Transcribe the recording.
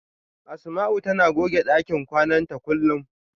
Asama'u tana goge ɗakin kwana ta kullum.